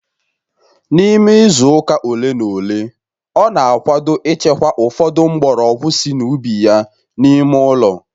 N'ime izu ole na ole, ọ na-akwado ịchekwa ụfọdụ mgbọrọgwụ sị n'ubi ya n'ime ụlọ